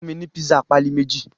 Fun mi ni pisa pali meji